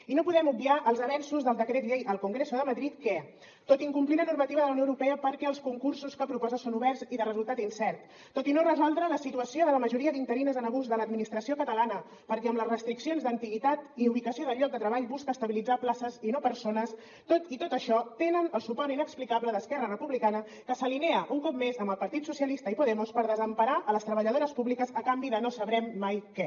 i no podem obviar els avenços del decret llei al congreso de madrid que tot i incomplir la normativa de la unió europea perquè els concursos que proposa són oberts i de resultat incert tot i no resoldre la situació de la majoria d’interines en abús de l’administració catalana perquè amb les restriccions d’antiguitat i ubicació del lloc de treball busca estabilitzar places i no persones tot i això tenen el suport inexplicable d’esquerra republicana que s’alinea un cop més amb el partit socialista i podemos per desemparar les treballadores públiques a canvi de no sabrem mai què